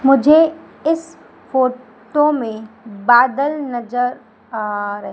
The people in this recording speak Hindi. मुझे इस फोटो में बादल नजर आ र--